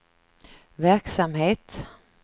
verksamhet